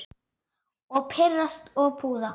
Og pirrast og puða.